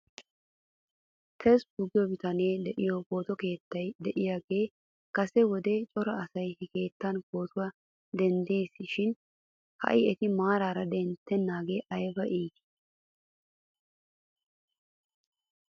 Tesfu giyo bitanee dooyido pooto keettay de'iyaagan kase wode cora asay he keettan pootuwaa denddes shin ha'i eti maara denttenaagee ayba iitii.